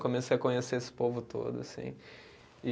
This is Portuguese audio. Comecei a conhecer esse povo todo, assim, e